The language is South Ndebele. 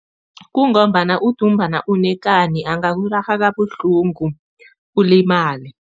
Kungombana udumbana unekani, angakurarha kabuhlungu ulimale.